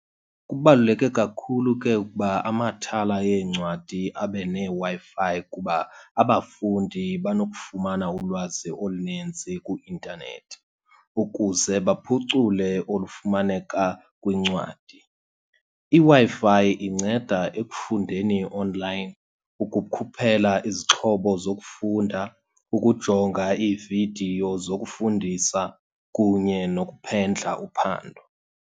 Kubaluleke kakhulu ke ukuba amathala eencwadi abe neeWi-Fi, kuba abafundi banokufumana ulwazi olunintsi kwi-intanethi ukuze baphucule olufumaneka kwincwadi. IWi-Fi inceda ekufundeni onlayini, ukukhuphela izixhobo zokufunda, ukujonga iividiyo zokufundisa kunye nokuphendla uphando.